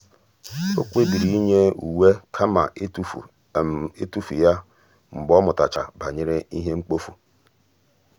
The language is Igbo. ọ́ kpébìrì ị́nyé uwe kama ị́tụ́fù ị́tụ́fù yá um mgbe ọ́ mụ́tàchàrà banyere ìhè mkpofu.